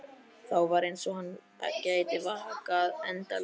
Þá var eins og hann gæti vakað endalaust.